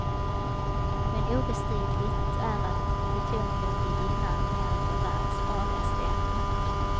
Men obestridligt är att plutonium vid inandning är ett av världens farligaste ämnen.